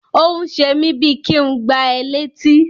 Ó ń ṣe mí bíi kí ń gbá ẹ létí.